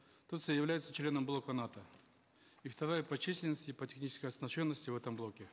турция является членом блока нато и вторая по численности по технической оснащенности в этом блоке